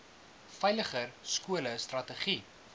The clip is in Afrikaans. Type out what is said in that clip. veiliger skole strategie